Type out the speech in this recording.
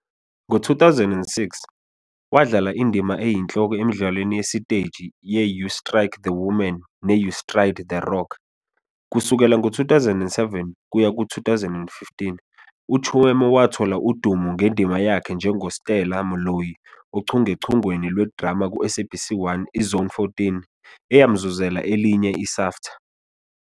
Ngo-2006, wadlala indima eyinhloko emidlalweni yesiteji ye-You Strike The Woman ne-You Stride The Rock. Kusukela ngo-2007 kuya ku-2015, uChiume wathola udumo ngendima yakhe njengoStella Moloi ochungechungeni lwe-drama ku-SABC1 i-Zone 14, eyamzuzela elinye i-SAFTA.